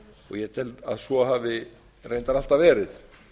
ég tel að svo hafi reyndar alltaf verið